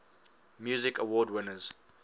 music awards winners